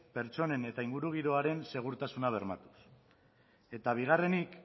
pertsonen eta ingurugiroaren segurtasuna bermatuz eta bigarrenik